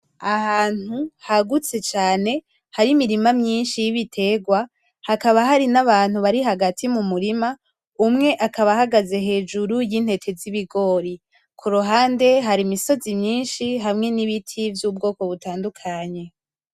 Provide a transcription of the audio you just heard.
Ahantu hagutse cane hari imirima myinshi y'ibitegwa, hakaba hari n'abantu bari hagati mu murima umwe akaba ahagaze hejuru y'intete z'ibigori, ku ruhande hari imisozi myinshi hamwe n'ibiti vy'ubwoko butandukanye.